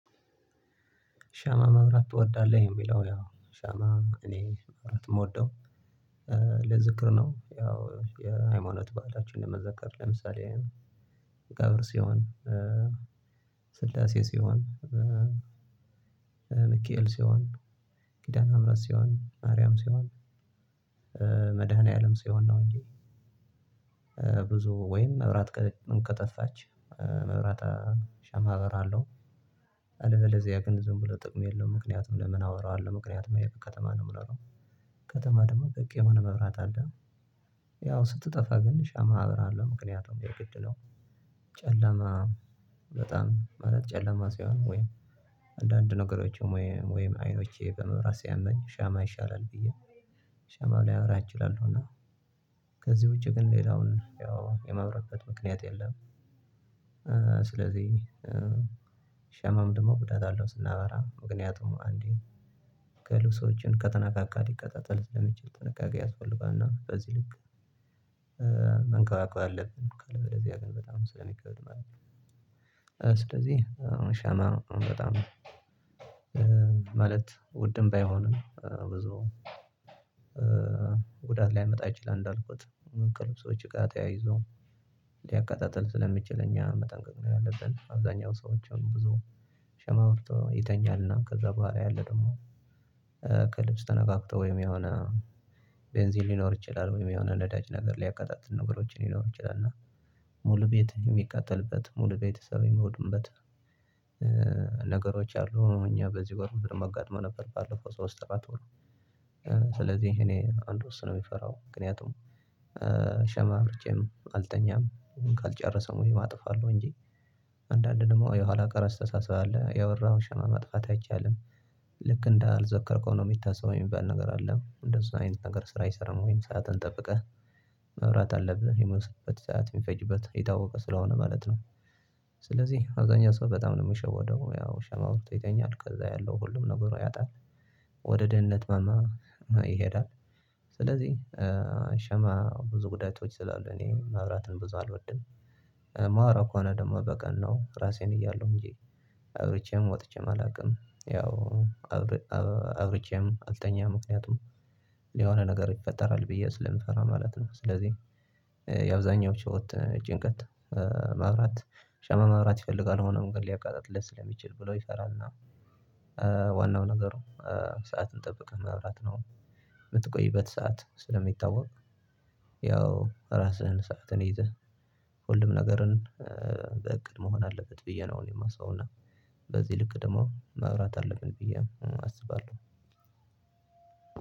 ሻማ መብራት ትወዳለህ? የሚለው ያው ሻማ እኔ ማብራት የምወደው ለዝክር ነው። ያው የሃይማኖት በዓላችን ለመዘከር ለምሳሌ አብር ሲሆን ስላሴ ሲሆን ሚካኤል ሲሆን ኪዳነምህረት ሲሆን ማርያም ሲሆን መድኃኒዓለም ሲሆን ነው። እንጂ ብዙ ወይም መብራት ከጠፋች መብራት ሻማ አበራለው። አለበለዚያ ግን ዝም ብሎ ጥቅም የለውም ምክንያቱም ለምን አወራዋለሁ ምክንያቱም ከተማ ነው የምኖረው። ከተማ ደግሞ በቂ የሆነ መብራት አለ። ያው ስትጠፋ ግን ሻማ አበራለሁ ምክንያቱም የግድ ነው። ጨለማ በጣም ማለት ጨለማ ሲሆን ወይ አንዳንድ ነገሮችም ወይ ወይ አይኖቼ በመብራት ሲያመኝ ሻማ ይሻላል ብዬ። ሻማ ላበራ እችላለሁና ከዚህ ውጪ ግን ሌላውን ያው የማበራበት ምክንያት የለም። ስለዚህ ሻማም ደግሞ ጉዳት አለው ስናበራ ምክንያቱም አንዴ ከልብሶች ከተነካካ ሊቀጣጠል ስለሚችል ጥንቃቄ ያስፈልጋል። እና በዚህ ልክ መንከባከብ አለብን ካለ በዚህ አገኘን በጣም ስለሚከብድ ማለት ነው። ስለዚህ አሁን ሻማ በጣም ማለት ውድም ባይሆንም ብዙ ጉዳት ሊያመጣ ይችላል። እንዳልኩት ከልብሶች ጋር ተያይዞ ሊያቀጣጥል ስለሚችል እኛ መጠንቀቅ ነው ያለበት። አብዛኛው ሰዎችን ብዙ ሻማ አብርቶ ይተኛልና ከዛ በኋላ ያለ ደግሞ ከልብስ ተነካክቶ ወይም የሆነ ቤንዚን ሊኖር ይችላል ወይም የሆነ ነዳጅ ነገር ሊያቀጣጥል ነገሮችን ሊኖር ይችላል እና ሙሉ ቤት የሚቃጠልበት ሙሉ ቤተሰብ ሚወድምበት። ነገሮች አሉ እኛ በዚህ ወር በደንብ አጋጥሞን ነበር። ባለፈው ሶስት አራት ወር ስለዚህ እኔ አንድ እሱን ነው የሚፈራው። ምክንያቱም ሻማ አብርቼም አልተኛም ካልጨረሰም ወይም አጠፋዋለሁ እንጂ አንዳንዴ ደግሞ የኋላ ቀር አስተሳሰብ አለ ያበራኸውን ሻማ ማጥፋት አይቻልም። ልክ እንዳልዘከርከው ነው የሚታሰበው የሚባል ነገር አለ እንደዚህ አይነት ነገር ስራ አይሰራም ወይም ሰዓትን ጠብቀህ መብራት አለብህ የመሰለበት ሰዓት የሚፈጅበት ይታወቃል ስለሆነ ማለት ነው። ስለዚህ አብዛኛው ሰው በጣም ነው ሚሸወደው ያው ሻማ አብርቶ ይተኛል ከዛ ያለው ሁሉም ነገር ያጣል። ወደ ድህነት ማማ ይሄዳል። ስለዚህ ሸማ ብዙ ጉዳቶች ስላሉ እኔ ማብራትን ብዙ አልወድም። ማበራው ከሆነ ደግሞ በቀን ነው ራሴን እያለሁ እንጂ አብርቼም ወጥቼም አላውቅም። ያው አብረቸም አልተኛም ምክንያቱም የሆነ ነገር ይፈጠራል ብዬ ስለምፈራ ማለት ነው። ስለዚህ የአብዛኛው ጭሆት ጭንቀት ማብራት ሸማ ማብራት ይፈልጋል ሆኖም ግን ሊያቃጥልለት ስለሚችል ብሎ ይፈራልና። ዋናው ነገሩ ሰዓትን ጠብቆ ማብራት ነው። የምትቆይበት ሰዓት ስለሚታወቅ ያው ራስህን ሰዓትን ይዘህ ሁሉም ነገርን በእቅድ መሆን አለበት ብዬ ነው እኔ የማስበው። እና በዚህ ልክ ደግሞ ማብራት አለብን ብዬ አስባለሁ።